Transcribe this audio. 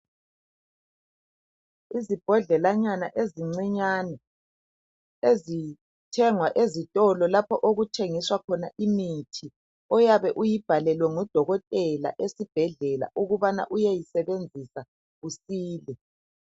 Izibhodlelanyana ezincinyane ezithengwa ezitolo lapho okuthengiswa khona imithi oyabe uyibhalelwe ngudokotela esibhedlela ukubana uyeyisebenzisa usile.